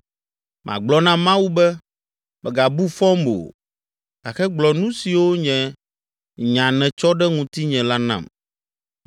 Magblɔ na Mawu be, ‘Mègabu fɔm o gake gblɔ nu siwo nye nya nètsɔ ɖe ŋutinye la nam.